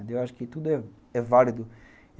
Eu acho que tudo é válido.